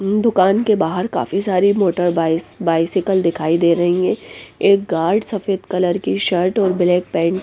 दुकान के बाहर काफी सारी मोटर बाई बाइसाइकल दिखाई दे रही है एक गार्ड सफेद कलर की शर्ट और ब्लैक पैंट --